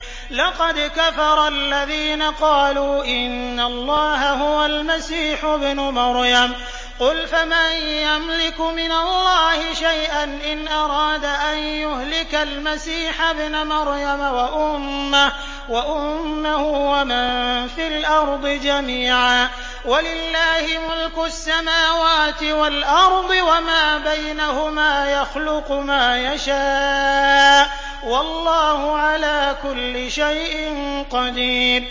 لَّقَدْ كَفَرَ الَّذِينَ قَالُوا إِنَّ اللَّهَ هُوَ الْمَسِيحُ ابْنُ مَرْيَمَ ۚ قُلْ فَمَن يَمْلِكُ مِنَ اللَّهِ شَيْئًا إِنْ أَرَادَ أَن يُهْلِكَ الْمَسِيحَ ابْنَ مَرْيَمَ وَأُمَّهُ وَمَن فِي الْأَرْضِ جَمِيعًا ۗ وَلِلَّهِ مُلْكُ السَّمَاوَاتِ وَالْأَرْضِ وَمَا بَيْنَهُمَا ۚ يَخْلُقُ مَا يَشَاءُ ۚ وَاللَّهُ عَلَىٰ كُلِّ شَيْءٍ قَدِيرٌ